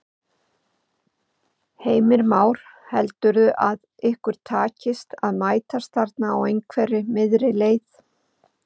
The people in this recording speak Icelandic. Heimir Már: Heldurðu að ykkur takist að mætast þarna á einhverri miðri leið?